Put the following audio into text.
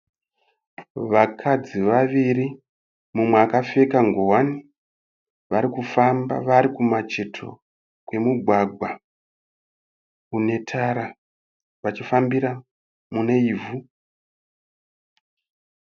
Vakadzi vaviri mumwe akapfeka ngowani. Varikufamba vari kumacheto kwemugwagwa une tara vachifambira mune ivhu.